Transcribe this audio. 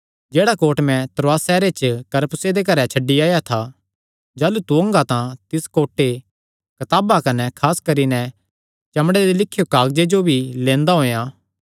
जेह्ड़ा कोट मैं त्रोआस सैहरे च करपुसे दे घरे च छड्डी आया था जाह़लू तू ओंगा तां तिस कोटे कताबा कने खास करी नैं चमड़े दे लिख्यो कागजां जो भी लैंदा औयेयां